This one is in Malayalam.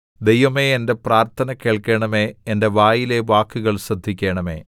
ദൈവമേ എന്റെ പ്രാർത്ഥന കേൾക്കണമേ എന്റെ വായിലെ വാക്കുകൾ ശ്രദ്ധിക്കണമേ